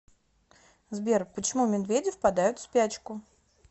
сбер почему медведи впадают в спячку